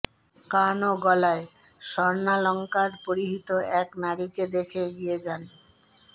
কান ও গলায় স্বর্ণালংকার পরিহিত এক নারীকে দেখেই এগিয়ে যান